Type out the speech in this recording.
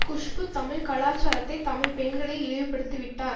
குஷ்பு தமிழ் கலாச்சாரத்தை தமிழ் பெண்களை இழிவுப்படுத்திவிட்டார்